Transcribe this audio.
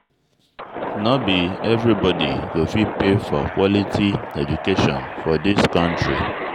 No be everybodi go fit pay for quality education for dis country.